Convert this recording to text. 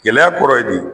Gɛlɛya kɔrɔ ye nin